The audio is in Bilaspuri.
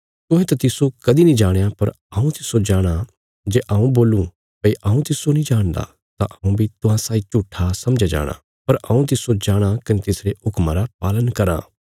तुहें त तिस्सो कदीं नीं जाणया पर हऊँ तिस्सो जाणाँ जे हऊँ बोलूं भई हऊँ तिस्सो नीं जाणदा तां हऊँ बी तुहां साई झूट्ठा समझया जाणा पर हऊँ तिस्सो जाणाँ कने तिसरे हुक्मा रा पालन कराँ